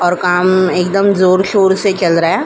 और काम एकदम जोर-शोर से चल रहा है।